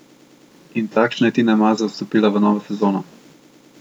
In takšna je Tina Maze vstopila v novo sezono.